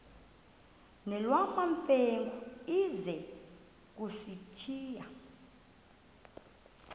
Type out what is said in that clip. nolwamamfengu ize kusitiya